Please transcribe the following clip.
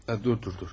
Ya dur dur dur.